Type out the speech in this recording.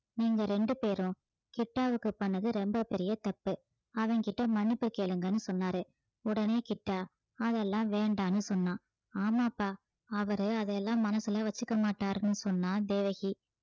நீங்க ரெண்டு பேரும் கிட்டாவுக்கு பண்ணது ரொம்ப பெரிய தப்பு அவன்கிட்ட மன்னிப்பு கேளுங்கன்னு சொன்னாரு உடனே கிட்டா அதெல்லாம் வேண்டான்னு சொன்னான் ஆமாப்பா அவரு அதையெல்லாம் மனசுல வச்சுக்க மாட்டாருன்னு சொன்னா தேவகி